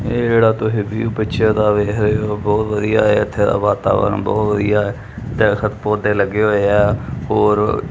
ਏਹ ਜੇਹੜਾ ਤੁਸੀ ਵਿਊ ਪਿਕਚਰ ਦਾ ਵੇਖ ਰਹੇ ਹੋ ਬੋਹਤ ਵਧੀਆ ਹੈ ਇੱਥੇ ਦਾ ਵਾਤਾਵਰਣ ਬੋਹਤ ਵਧੀਆ ਹੈ ਦਰੱਖਤ ਪੌਧੇ ਲੱਗੇ ਹੋਏ ਹੈਂ ਹੋਰ--